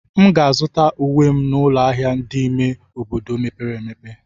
M ga-azụta uwe m n'ụlọ ahịa dị n'ime obodo mepere emepe.